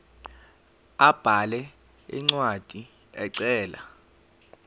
abhale incwadi ecela